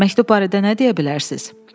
Məktub barədə nə deyə bilərsiz?